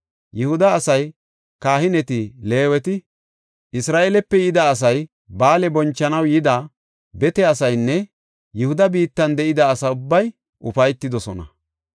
Yihuda asay, kahineti, Leeweti, Isra7eelepe yida asay, ba7aale bonchanaw yida bete asaynne Yihuda biittan de7ida asa ubbay ufaytidosona.